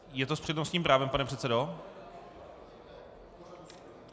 Je to s přednostním právem, pane předsedo?